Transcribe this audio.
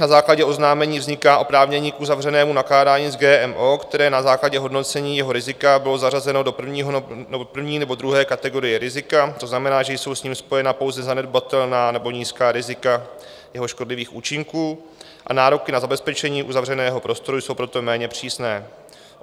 Na základě oznámení vzniká oprávnění k uzavřenému nakládání s GMO, které na základě hodnocení jeho rizika bylo zařazeno do první nebo druhé kategorie rizika, to znamená, že jsou s ním spojena pouze zanedbatelná nebo nízká rizika jeho škodlivých účinků, a nároky na zabezpečení uzavřeného prostoru jsou proto méně přísné.